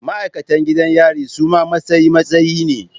Ma'aikatan gidan yari suma matsayi matsayi ne